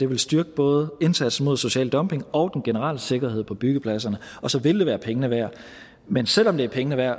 vil styrke både indsatsen mod social dumping og den generelle sikkerhed på byggepladserne og så vil det være pengene værd men selv om det er pengene værd